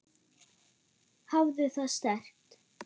Hafðu það sterkt.